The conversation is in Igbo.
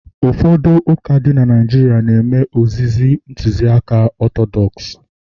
ụfọdụ ụka dị na Naijiria na-eme ozizi Ntụziaka Ọtọdọks